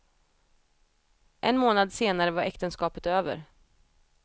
En månad senare var äktenskapet över.